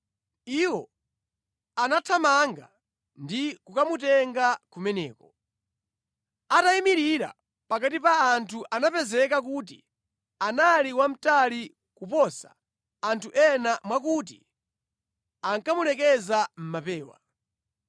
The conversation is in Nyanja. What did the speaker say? Iwo anathamanga ndi kukamutenga kumeneko. Atayimirira pakati pa anthu anapezeka kuti anali wamtali kuposa anthu ena mwakuti ankamulekeza mʼmapewa.